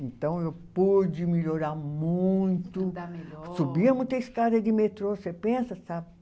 Então eu pude melhorar muito. Andar melhor. Subia muita escada de metrô, você pensa, sabe?